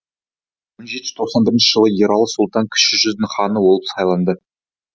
бір мың жетіжүз тоқсан бірінщі жылы ералы сұлтан кіші жүздің ханы болып сайланды